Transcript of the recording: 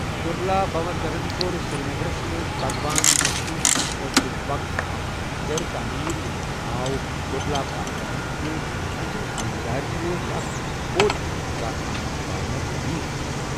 دُرلابھوردھنن کوٚر سرینگرس منٛز بھگوان وِشنو سٕنٛدِ خٲطرٕ وقف اکھ منٛدر تعمیٖر ییٚمیُک ناو 'دُرلابھاسوامِن' چُھ، أمۍ سٕنٛزِ خانٛدارنہٕ اوس اکھ بود خانقاہ آننگ بھاونا تعمیٖر کوٚرمُت.